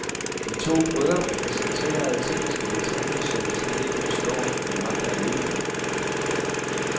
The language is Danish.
De to brødre præsterer tekniske detaljer, som jeg slet ikke forstår, de magter at udføre.